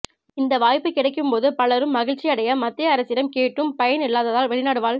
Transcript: இந்த வாய்ப்பு கிடைக்கும்போது பலரும் மகிழ்ச்சி அடைய மத்திய அரசிடம் கேட்டும் பயன் இல்லாததால் வெளிநாடு வாழ்